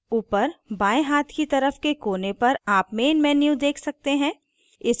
ऊपर बाएं हाथ की तरफ के कोने पर आप main menu देख सकते हैं